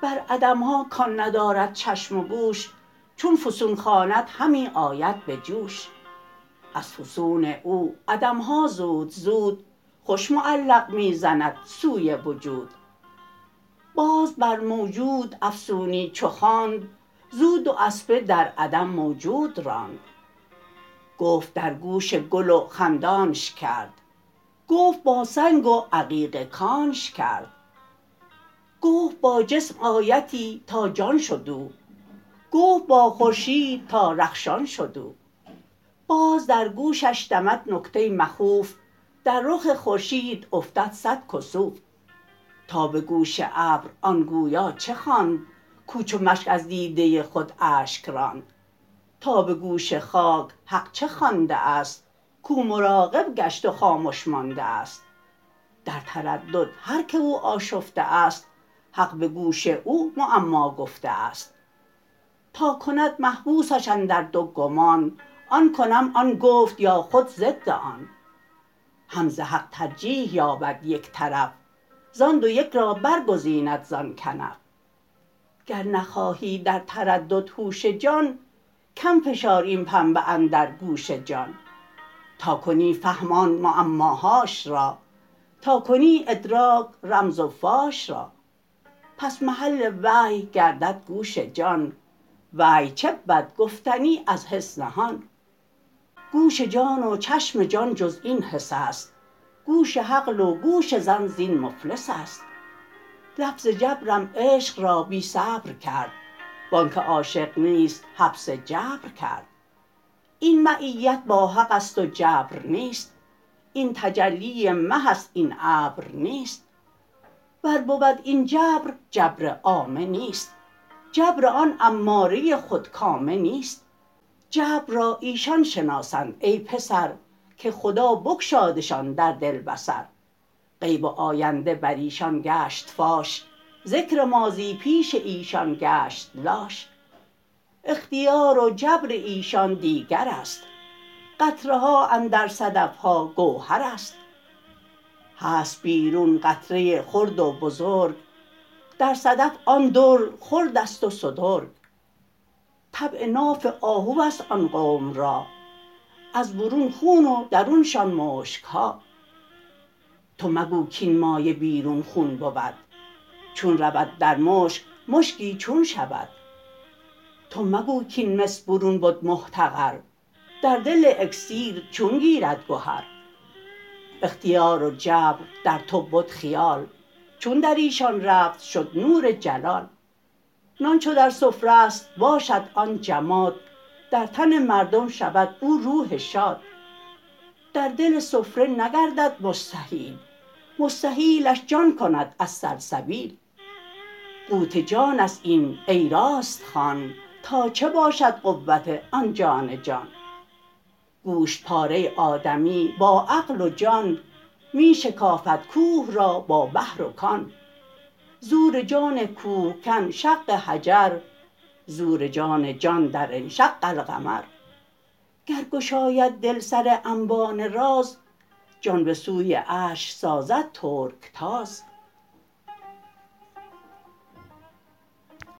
بر عدمها کان ندارد چشم و گوش چون فسون خواند همی آید به جوش از فسون او عدمها زود زود خوش معلق می زند سوی وجود باز بر موجود افسونی چو خواند زو دو اسپه در عدم موجود راند گفت در گوش گل و خندانش کرد گفت با سنگ و عقیق کانش کرد گفت با جسم آیتی تا جان شد او گفت با خورشید تا رخشان شد او باز در گوشش دمد نکته مخوف در رخ خورشید افتد صد کسوف تا به گوش ابر آن گویا چه خواند کو چو مشک از دیده خود اشک راند تا به گوش خاک حق چه خوانده است کو مراقب گشت و خامش مانده است در تردد هر که او آشفته است حق به گوش او معما گفته است تا کند محبوسش اندر دو گمان آن کنم آن گفت یا خود ضد آن هم ز حق ترجیح یابد یک طرف زان دو یک را برگزیند زان کنف گر نخواهی در تردد هوش جان کم فشار این پنبه اندر گوش جان تا کنی فهم آن معماهاش را تا کنی ادراک رمز و فاش را پس محل وحی گردد گوش جان وحی چه بود گفتنی از حس نهان گوش جان و چشم جان جز این حس است گوش عقل و گوش ظن زین مفلس است لفظ جبرم عشق را بی صبر کرد وانک عاشق نیست حبس جبر کرد این معیت با حقست و جبر نیست این تجلی مه است این ابر نیست ور بود این جبر جبر عامه نیست جبر آن اماره خودکامه نیست جبر را ایشان شناسند ای پسر که خدا بگشادشان در دل بصر غیب و آینده بریشان گشت فاش ذکر ماضی پیش ایشان گشت لاش اختیار و جبر ایشان دیگرست قطره ها اندر صدفها گوهرست هست بیرون قطره خرد و بزرگ در صدف آن در خردست و سترگ طبع ناف آهوست آن قوم را از برون خون و درونشان مشکها تو مگو کین مایه بیرون خون بود چون رود در ناف مشکی چون شود تو مگو کین مس برون بد محتقر در دل اکسیر چون گیرد گهر اختیار و جبر در تو بد خیال چون دریشان رفت شد نور جلال نان چو در سفره ست باشد آن جماد در تن مردم شود او روح شاد در دل سفره نگردد مستحیل مستحیلش جان کند از سلسبیل قوت جانست این ای راست خوان تا چه باشد قوت آن جان جان گوشت پاره آدمی با عقل و جان می شکافد کوه را با بحر و کان زور جان کوه کن شق حجر زور جان جان در انشق القمر گر گشاید دل سر انبان راز جان به سوی عرش سازد ترک تاز